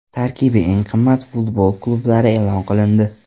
Tarkibi eng qimmat futbol klublari e’lon qilindi.